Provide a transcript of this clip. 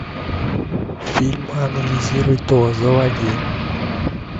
фильм анализируй то заводи